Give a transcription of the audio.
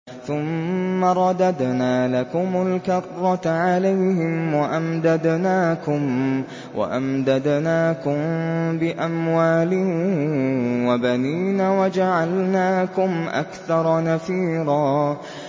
ثُمَّ رَدَدْنَا لَكُمُ الْكَرَّةَ عَلَيْهِمْ وَأَمْدَدْنَاكُم بِأَمْوَالٍ وَبَنِينَ وَجَعَلْنَاكُمْ أَكْثَرَ نَفِيرًا